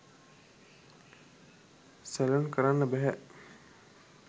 Salon කරන්න බැහැ.